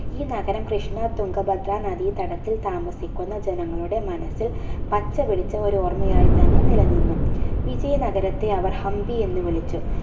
ഈ നഗരം കൃഷ്ണ തുങ്കഭദ്ര നദി തടത്തിൽ താമസിക്കുന്ന ജനങ്ങളുടെ മനസ്സിൽ പച്ചപിടിച്ച ഒരോർമയായിത്തന്നെ നില നിന്നു വിജയ നഗരത്തെ അവർ ഹംപി എന്ന് വിളിച്ചു